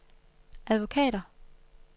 advokater